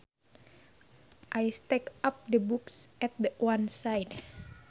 I stacked up the books at one side